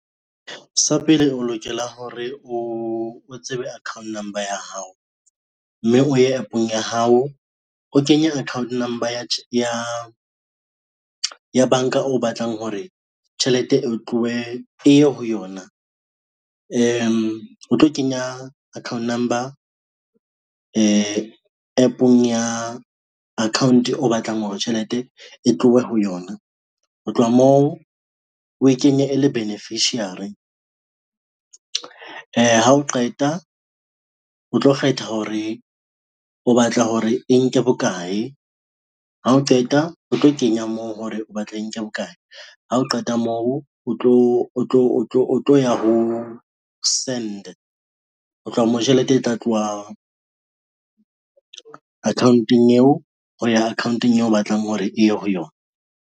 Sa pele o lokela hore o tsebe account number ya hao, mme o ye app-ong ya hao o kenye account number ya banka o batlang hore tjhelete e tlowe, e ye ho yona. O tlo kenya account number app-ong ya account o batlang hore tjhelete e tlohe ho yona. Ho tloha moo we kenye e le beneficiary, ha o qeta, o tlo kgetha hore o batla hore e nke bokae, ha o qeta o tlo kenya moo hore o batla e nke bokae ha o qeta moo, o tlo ya ho send, ho tloha moo tjhelete e tla tloha account-ong eo ho ya account-ong eo o batlang hore e ye ho yona.